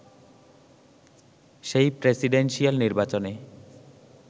সেই প্রেসিডেনসিয়াল নির্বাচনে